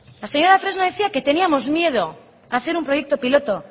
la señora fresno decía que teníamos miedo hacer unproyecto piloto